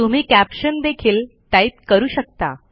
तुम्ही कॅप्शन देखील टाईप करू शकता